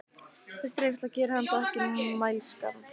Þessi reynsla gerir hann þó ekki mælskan.